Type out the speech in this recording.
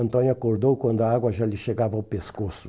Antônio acordou quando a água já lhe chegava ao pescoço.